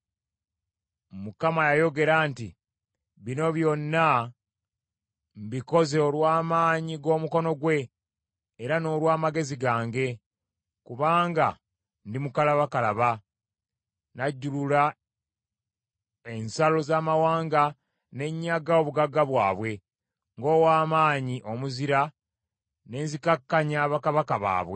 Kubanga yayogera nti, “ ‘Bino byonna mbikoze olw’amaanyi g’omukono gwange, era n’olw’amagezi gange, kubanga ndi mukalabakalaba: Najjulula ensalo z’amawanga ne nnyaga obugagga bwabwe, ng’ow’amaanyi omuzira ne nzikakkanya bakabaka baabwe.